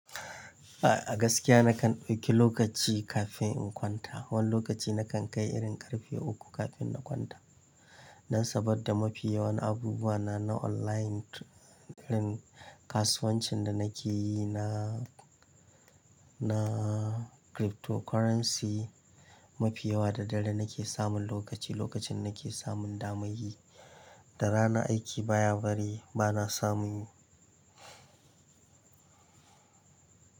A gaskiya nakan ɗauki lokaci kafin in kwanta. Wani lokaci nakan kai irin ƙarfe uku kafin na kwanta. Dan saboda mafi yawan abubuwana na online kasuwancin da nake yi na, na cryptocurrency. Mafi yawa da dare nake samun lokaci, lokacin nake samun daman yi. Da rana aiki baya bari bana samun yi.